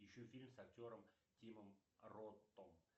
ищу фильм с актером тимом ротом